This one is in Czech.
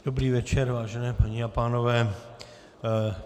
Dobrý večer, vážené paní a pánové.